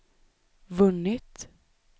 vunnit